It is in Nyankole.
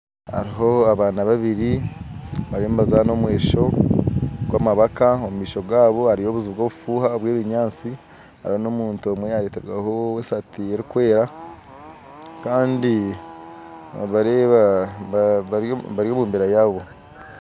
Hariho abaana babiri bariyo nibazaana omwesho gw'amabaka omu maisho gaabo hariyo obuju bw'obufuuha bw'ebinyaatsi hariho n'omuntu omwe yayetegaho saati erikwera kandi nobareeba bari omu mbeera yaabo